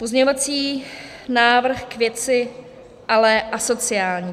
Pozměňovací návrh k věci, ale asociální.